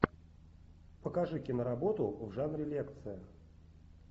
покажи киноработу в жанре лекция